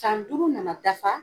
San duuru nana dafa